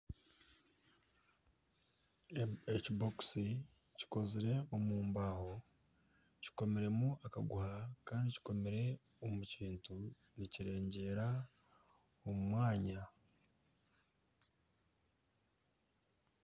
Ekibokisi kikozire omu mbaho kikomiremu akaguha Kandi kikomire omu kintu nikirengyeera omu omwanya.